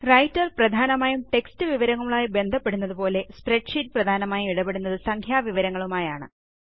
writer പ്രധാനമായും text വിവരങ്ങളുമായി ബന്ധപ്പെടുന്നതുപോലെ സ്പ്രെഡ്ഷീറ്റ് പ്രധാനമായും ഇടപെടുന്നത് സംഖ്യാ വിവരങ്ങളുമായാണ്